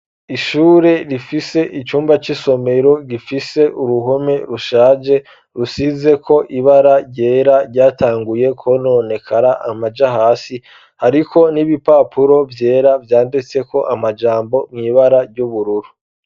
Ishure rifise icumba c 'isomero gifise uruhome rushaje rusize ko ibara ryera ryatanguye ko none kara amaja hasi ariko n'ibipapuro byera vyanditse ko amajambo mw'ibara ry'ubururu.